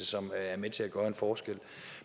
som er med til gøre en forskel